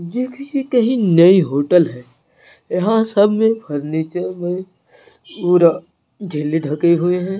ये किसी कहीं नई होटल हैं यहाँ सब में फर्नीचर में पूरा ढके हुए हैं।